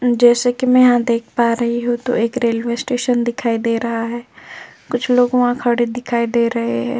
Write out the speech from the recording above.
जैसे कि मैं यहां देख पा रही हूं तो एक रेलवे स्टेशन दिखाई दे रहा है कुछ लोग वहां खड़े दिखाई दे रहे हैं।